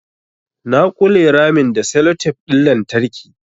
Na ƙule ramin da sellotape ɗin lantarki